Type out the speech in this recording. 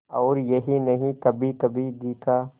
और यही नहीं कभीकभी घी का